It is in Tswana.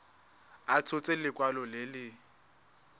a tshotse lekwalo le le